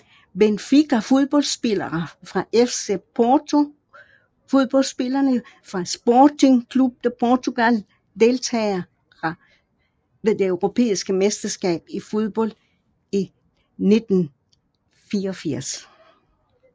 Benfica Fodboldspillere fra FC Porto Fodboldspillere fra Sporting Clube de Portugal Deltagere ved det europæiske mesterskab i fodbold 1984